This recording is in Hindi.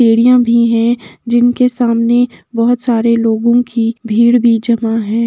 भी है जिनके सामने बहुत सारे लोगों कि भीड़ भी जमा है|